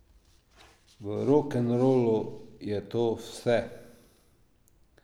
V rokenrolu je to vse.